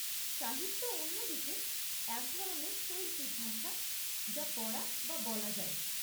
সাহিত্য অন্য দিকে এক ধরনের শৈল্পিক ভাষা যা পড়া বা বলা যায়।